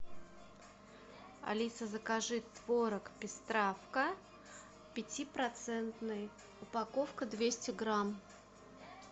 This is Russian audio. алиса закажи творог пестравка пятипроцентный упаковка двести грамм